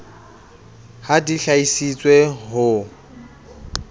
ha di hlahisitswe ho tj